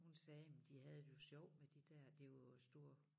Hun sagde men de havde det jo sjovt med de der det jo store